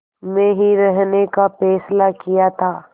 में ही रहने का फ़ैसला किया था